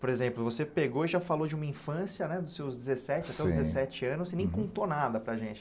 Por exemplo, você pegou e já falou de uma infância né, dos seus dezessete, sim, até os dezessete anos e nem contou nada para gente.